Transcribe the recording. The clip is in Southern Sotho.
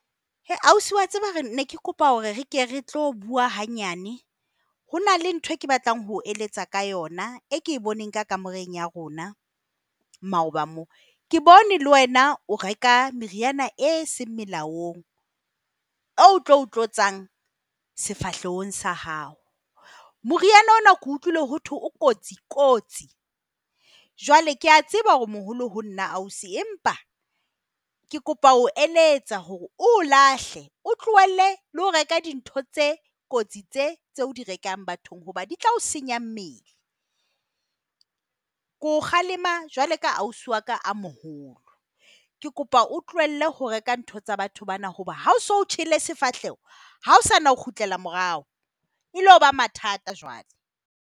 He, ausi wa tseba hore ne ke kopa hore re ke re tlo bua hanyane. Ho na le ntho eo ke batlang ho o eletsa ka yona eo ke e boneng ka kamoreng ya rona maoba mona. Ke bone le wena o reka meriana e seng molaong o tlo tlotsang sefahlehong sa hao. Moriana ona ke utlwile ho thwe o kotsi-kotsi. Jwale ke a tseba hore o moholo ho nna ausi, empa ke kopa ho eletsa hore o o lahle. O tlohelle le ho reka dintho tse kotsi tse tseo di rekang bathong hoba di tla o senya mmele. Ke o kgalema jwalo ka ausi wa ka a moholo, Ke kopa o tlohelle ho reka ntho tsa batho bana hoba ha a so o tjhele sefahleho ha o sana ho kgutlela morao. E tloba mathata jwale.